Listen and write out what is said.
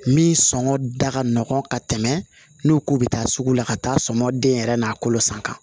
Min sɔngɔ da ka nɔgɔn ka tɛmɛ n'o k'u bɛ taa sugu la ka taa sɔŋɔ den yɛrɛ n'a kolo san kan